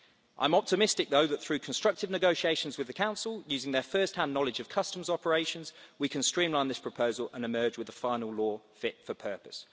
I am optimistic, though, that, through constructive negotiations with the Council, using their first-hand knowledge of customs operations, we can streamline this proposal and emerge with a final law fit for purpose.